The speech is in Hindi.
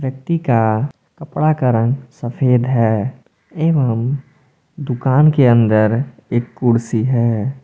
व्यक्ति का कपड़ा का रंग सफेद है एवं दुकान के अंदर एक कुर्सी है।